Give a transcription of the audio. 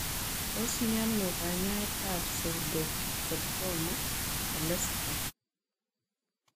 Tos mienoo kanyaet ap pseudoxathoma elastikam?